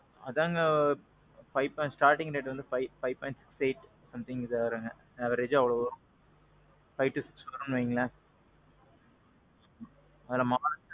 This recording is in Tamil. அதாங்க. five point, starting rate வந்து five point eight, something கிட்ட வருங்க. averageஅ அவ்வளவு five to six குள்ள வரும்னு வைங்களேன். அதுல model.